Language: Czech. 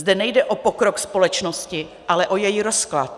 Zde nejde o pokrok společnosti, ale o její rozklad.